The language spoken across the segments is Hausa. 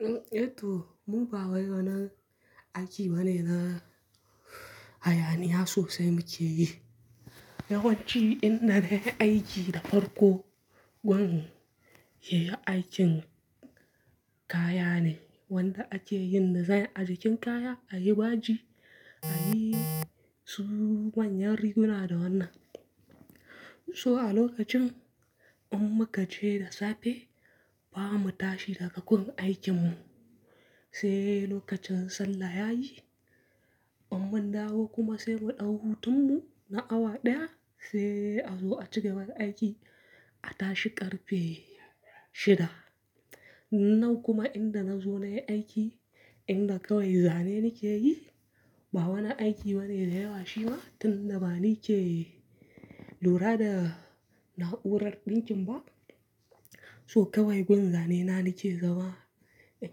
Eh to, mu ba waye wannan aiki bane na hayaniya sosai muke yi. Yawanci inna ne aiki da farko, wani yayi aikin kaya ne wanda ake yin nazarin ajikin kaya, ayi baji, ayi su manyan riguna da wannan. So a lokacin in muka je da safe, ba mu tashi daga wurin aikinmu, sai lokacin sallah yayi, mun dawo kuma sai mu ɗau hutun mu na awa ɗaya sai a zo a cigaba da aiki, a tashi ƙarfe shida. Nan kuma inda na zo nayi aiki, inda kawai zane nake yi, ba wani aiki bane da yawa shi ba tunda bani ce lura da na'urar ɗinkin ba. So kawai gwan Zane na nake zaba, in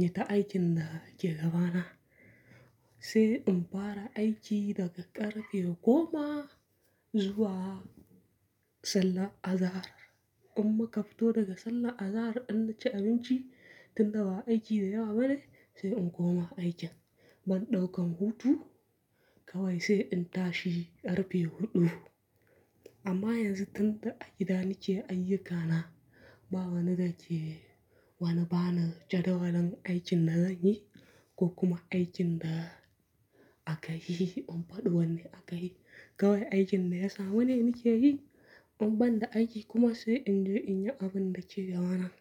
yi ta aikin da ke gabana, sai in fara aiki daga ƙarfe goma zuwa sallah azahar. In muka fito daga sallah azahar, in na ci abinci tunda ba aiki da yawa bane sai in koma aikin. Ban ɗaukan hutu kawai sai in tashi ƙarfe huɗu. Amma yanzu tunda aiki da nake ayyukana ba wani da ke wane bana jadawalan aikin da zanyi ko kuma aikin da aka yi in faɗi wannan aka yi. Kawai aikin da ya samu ne nake yi, in ban da aiki kuma sai in je in yi abin da ke gabana.